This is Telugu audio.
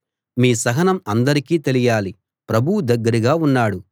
మీ సహనం అందరికీ తెలియాలి ప్రభువు దగ్గరగా ఉన్నాడు